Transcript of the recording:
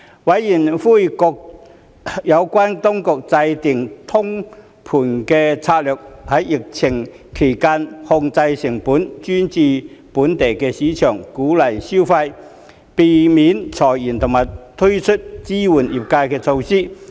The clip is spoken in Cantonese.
委員籲請各有關當局制訂通盤策略，在疫情期間控制成本、專注本地市場、鼓勵消費、避免裁員及推出支援業界的措施。